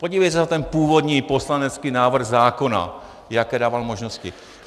Podívejte se na ten původní poslanecký návrh zákona, jaké dával možnosti.